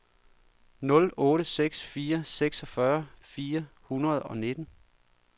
nul otte seks fire seksogfyrre fire hundrede og nitten